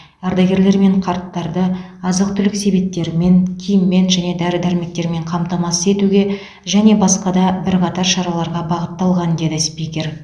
ардагерлер мен қарттарды азық түлік себеттерімен киіммен және дәрі дәрмектермен қамтамасыз етуге және басқа да бірқатар шараларға бағытталған деді спикер